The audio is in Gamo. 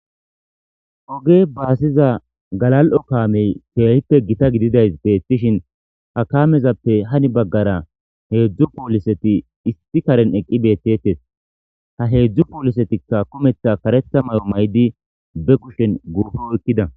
Oge baasiza galal7o kaamey keehippe gita gididay beettishin ha kaamezappe hani baggara heedzdzu pooliseti isti karen eqqi beettetes ha heedzdzu poolisetikka kometha kareta may7o may7di be kushen guupo ekkida.